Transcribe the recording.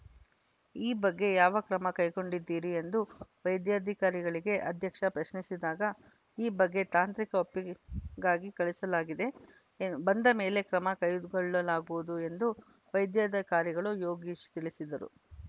ಈ ಬಗ್ಗೆ ಯಾವ ಕ್ರಮ ಕೈಗೊಂಡಿದ್ದೀರಿ ಎಂದು ವೈಧ್ಯಾಧಿಕಾರಿಗಳಿಗೆ ಅಧ್ಯಕ್ಷೆ ಪ್ರಶ್ನಿಸಿದಾಗ ಈ ಬಗ್ಗೆ ತಾಂತ್ರಿಕ ಒಪ್ಪಿಗೆಗಾಗಿ ಕಳಿಸಲಾಗಿದೆ ಎ ಬಂದ ಮೇಲೆ ಕ್ರಮ ಕೈಗೊಳ್ಳಲಾಗುವುದು ಎಂದು ವೈದ್ಯಾಧಿಕಾರಿಗಳು ಯೋಗೀಶ್‌ ತಿಳಿಸಿದರು